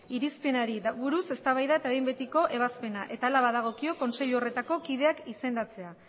irizpenari buruz eztabaida eta behin betiko ebazpena eta hala badagokio kontseilu horretako kideak izendatzea